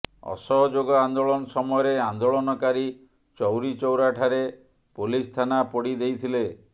ଅସହଯୋଗ ଆନ୍ଦୋଳନ ସମୟରେ ଆନ୍ଦୋଳନକାରୀ ଚୌରିଚୌରାଠାରେ ପୋଲିସଥାନା ପୋଡ଼ି ଦେଇଥିଲେ